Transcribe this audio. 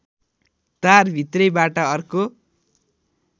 तारभित्रैबाट अर्को